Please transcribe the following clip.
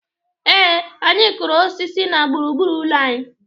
Ee, anyị kụrụ osis na gburu gburu ụlọ anyị.